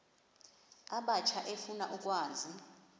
abatsha efuna ukwazi